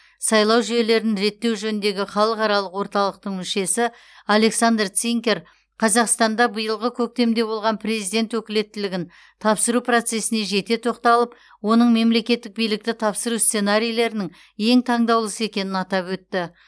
сайлау жүйелерін зерттеу жөніндегі халықаралық орталықтың мүшесі александр цинкер қазақстанда биылғы көктемде болған президент өкілеттілігін тапсыру процесіне жете тоқталып оның мемлекеттік билікті тапсыру сценарийлерінің ең таңдаулысы екенін атап өтті